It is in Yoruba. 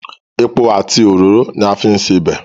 Epo àti òróró ni a fi ń sebẹ̀.